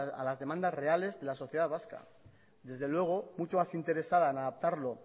a las demandas reales de la sociedad vasca desde luego mucho más interesa en adaptarlo